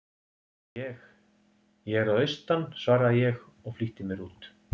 Ég. ég er að austan, svaraði ég og flýtti mér út.